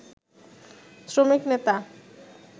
শ্রমিক নেতা